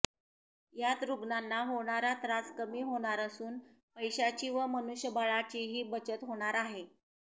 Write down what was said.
यात रुग्णांना होणारा त्रास कमी होणार असून पैशांची व मनुष्यबळाचीही बचत होणार आहे